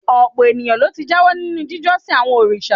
Ọ̀pọ̀ èèyàn ló ti jáwọ́ nínú jíjọ́sìn àwọn òrìṣà